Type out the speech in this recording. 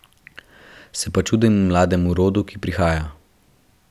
Se pa čudim mlademu rodu, ki prihaja.